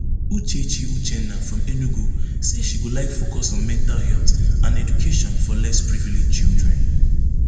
uchechi uchenna from enugu say she go like focus on mental health and education for less privilege children